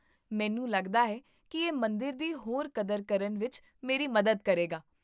ਮੈਨੂੰ ਲੱਗਦਾ ਹੈ ਕਿ ਇਹ ਮੰਦਰ ਦੀ ਹੋਰ ਕਦਰ ਕਰਨ ਵਿੱਚ ਮੇਰੀ ਮਦਦ ਕਰੇਗਾ